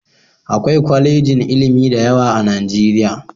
Akwai kwalejin ilimi da yawa a Nijeriya